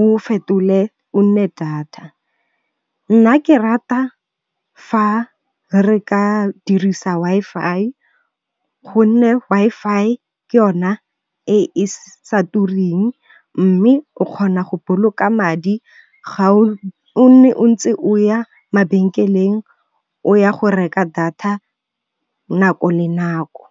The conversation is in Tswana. o fetole o nne data. Nna ke rata fa re ka dirisa Wi-Fi, go nne Wi-Fi ke yona e e sa tureng mme o kgona go boloka madi ga o nne o ntse o ya mabenkeleng o ya go reka data nako le nako.